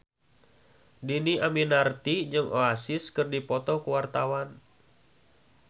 Dhini Aminarti jeung Oasis keur dipoto ku wartawan